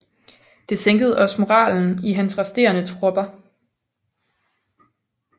Det sænkede også moralen i hans resterende tropper